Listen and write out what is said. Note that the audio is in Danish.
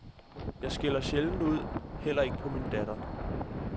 Jeg skælder sjældent ud, heller ikke på min datter.